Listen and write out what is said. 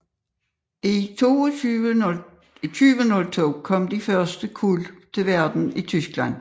I 2002 kom de første kuld til verden i Tyskland